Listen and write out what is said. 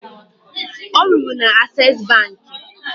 Ọ rụrụ na Ases bankị